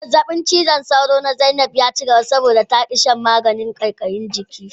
Zazzabin cizon sauro na Zainab ya cigaba, saboda ta ki shan magani mai sa kaikayin jiki.